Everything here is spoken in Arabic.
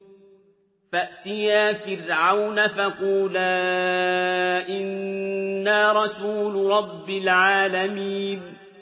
فَأْتِيَا فِرْعَوْنَ فَقُولَا إِنَّا رَسُولُ رَبِّ الْعَالَمِينَ